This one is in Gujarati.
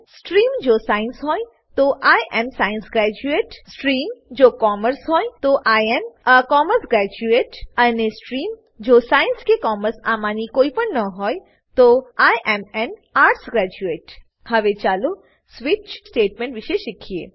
સ્ટ્રીમ જો સાયન્સ હોય તો I am a science graduate stream જો કોમર્સ હોય તો I am a commerce graduate અને સ્ટ્રીમ જો સાયન્સ કે કોમર્સ આમાંની કોઈપણ ન હોય તો I am an arts graduate હવે ચાલો સ્વિચ સ્વીચ સ્ટેટમેંટ વિશે શીખીએ